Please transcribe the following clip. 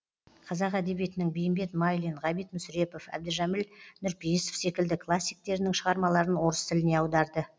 қазақ әдебиетінің бейімбет майлин ғабит мүсірепов әбдіжәміл нұрпейісов секілді классиктерінің шығармаларын орыс тіліне аударды